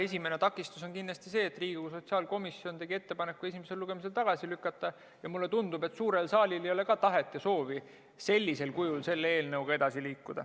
Esimene takistus on kindlasti see, et Riigikogu sotsiaalkomisjon tegi ettepaneku eelnõu esimesel lugemisel tagasi lükata, ja mulle tundub, et suurel saalil ei ole ka tahet ja soovi sellisel kujul selle eelnõuga edasi liikuda.